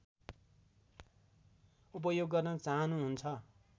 उपयोग गर्न चाहनुहुन्छ